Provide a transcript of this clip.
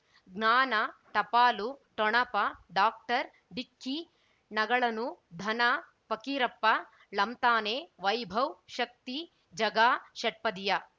ಜ್ಞಾನ ಟಪಾಲು ಠೊಣಪ ಡಾಕ್ಟರ್ ಢಿಕ್ಕಿ ಣಗಳನು ಧನ ಫಕೀರಪ್ಪ ಳಂತಾನೆ ವೈಭವ್ ಶಕ್ತಿ ಝಗಾ ಷಟ್ಪದಿಯ